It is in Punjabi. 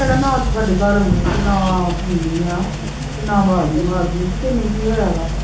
ਤੁਹਾਡੇ ਘਰ ਔਨੀ ਨਾ ਤੂੰ ਔਨੀ ਆ, ਨਾ ਵਾਜ ਈ ਮਾਰਦੀ ਤੈਨੂੰ ਕੀ ਹੋਇਆ ਵਾ?